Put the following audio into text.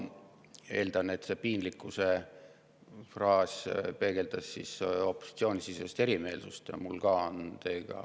Ma eeldan, et see piinlikkuse fraas peegeldas opositsioonisisest erimeelsust.